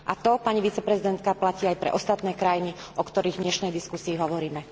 A to, pani viceprezidentka, platí aj pre ostatné krajiny, o ktorých v dnešnej diskusii hovoríme.